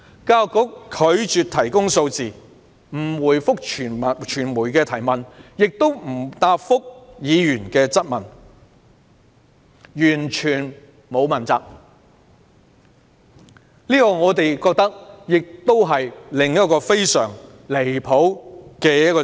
教育局拒絕提供數字，既不回覆傳媒的提問，亦不答覆議員的質詢，一副完全不打算問責的姿態，實在太不合理。